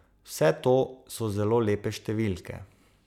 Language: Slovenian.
Vse to so zelo lepe številke.